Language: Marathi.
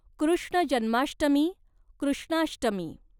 कृष्ण जन्माष्टमी, कृष्णाष्टमी